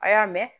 A y'a mɛn